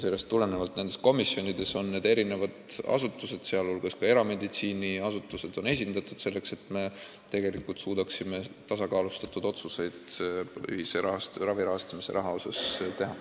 Sellest tulenevalt on nendes komisjonides esindatud erinevad asutused, sh erameditsiiniasutused, selleks et me tegelikult suudaksime teha tasakaalustatud otsuseid ravi rahastamise kohta.